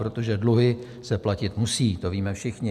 Protože dluhy se platit musí, to víme všichni.